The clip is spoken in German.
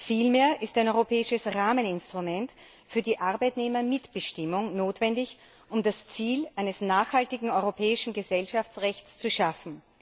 Vielmehr ist ein europäisches Rahmeninstrument für die Arbeitnehmermitbestimmung notwendig, um das Ziel eines nachhaltigen europäischen Gesellschaftsrechts zu schaffen.